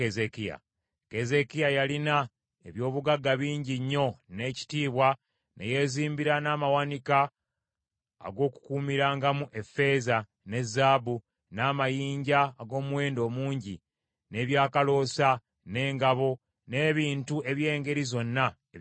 Keezeekiya yalina eby’obugagga bingi nnyo n’ekitiibwa, ne yeezimbira n’amawanika ag’okukuumirangamu effeeza, ne zaabu, n’amayinja ag’omuwendo omungi, n’ebyakaloosa, n’engabo, n’ebintu eby’engeri zonna eby’omuwendo.